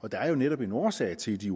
og der er jo netop en årsag til at de